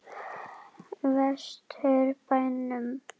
Vestur bænum.